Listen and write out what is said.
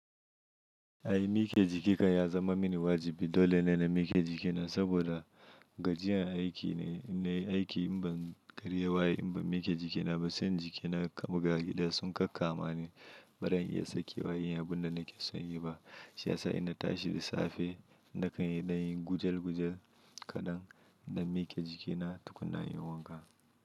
Ai mike jikinka ya zama mini wajibi. Dole ne na mike jikina saboda gajiyan aiki ne. Aiki in ban karya waye in ban mike jikina ba, sai jikina kamagari ɗaya sun kakka mani, baran iya sakewa inyi abun da nake son yi ba. Shi ya sa ina tashi da safe nakan yi na yi gujal gujal kaɗan, na mike jikina tukunna inyi wanka.